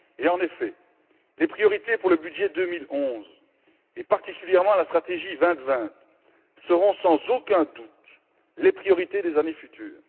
En effet, les priorités pour le budget 2011 et particulièrement la stratégie 2020 seront sans aucun doute les priorités des années futures.